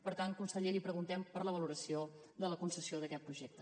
per tant conseller li preguntem per la valoració de la concessió d’aquest projecte